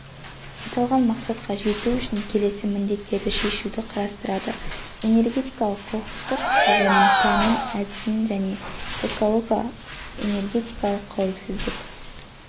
аталған мақсатқа жету үшін келесі міндеттерді шешуді қарастырады энергетикалық құқық ұғымын пәнін әдісін және эколого-энергетикалық қауіпсіздік